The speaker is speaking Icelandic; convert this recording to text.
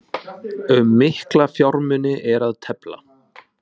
Um mikla fjármuni er að tefla